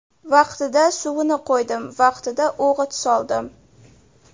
Vaqtida suvini qo‘ydim, vaqtida o‘g‘it soldim.